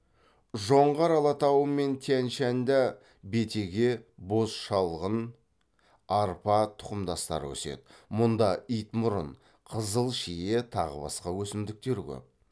жоңғар алатауы мен тянь шаньда бетеге боз шалғын арпа тұқымдастары өседі мұнда итмұрын қызыл шие тағы басқа өсімдіктер көп